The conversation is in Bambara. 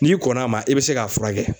N'i kɔnn'a ma i bɛ se k'a furakɛ.